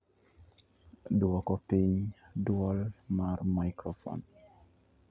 duoko piny dwol mar maikrofon